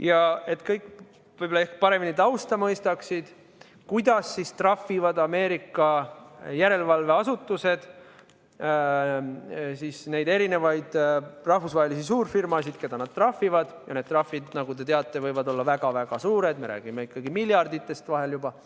Ja et kõik mõistaksid paremini tausta, kuidas trahvivad Ameerika järelevalveasutused neid erinevaid rahvusvahelisi suurfirmasid, keda nad trahvivad – ja need trahvid, nagu te teate, võivad olla väga-väga suured, me räägime ikkagi vahel juba miljarditest –, ma selgitan,